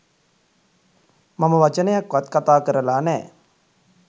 මම වචනයක්වත් කතා කරලා නෑ